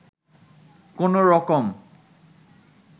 কোনো রকম